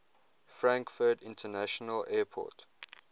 frankfurt international airport